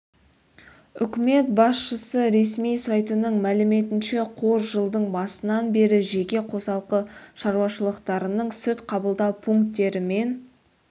үкімет басшысы ресми сайтының мәліметінше қор жылдың басынан бері жеке қосалқы шаруашылықтарының сүт қабылдау пункттері мен